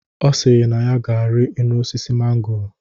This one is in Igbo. Ọ sịrị na ya ga-ari enu osisi mangoro